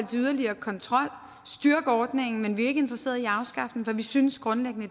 yderligere kontrol styrke ordningen men vi er ikke interesseret i at afskaffe den for vi synes grundlæggende